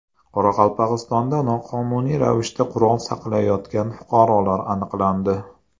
Qoraqalpog‘istonda noqonuniy ravishda qurol saqlayotgan fuqarolar aniqlandi.